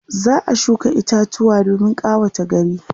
za'a shuka itatuwa domin ƙawata gari